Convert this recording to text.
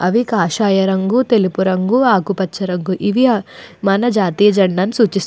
అవి కాషాయ రంగు తెలుపు రంగు ఆకుపచ్చ అవి. మన జాతీయ జెండాను సూచిస్తున్నాయి.